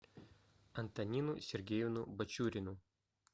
антонину сергеевну бачурину